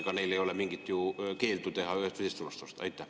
Ega neil ei ole mingit keeldu ühest või teisest suunast osta.